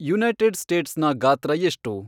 United ಸ್ಟೇಟ್ಸ್ನ ಗಾತ್ರ ಎಷ್ಟು